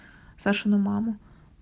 сашина мама